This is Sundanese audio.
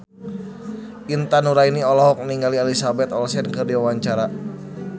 Intan Nuraini olohok ningali Elizabeth Olsen keur diwawancara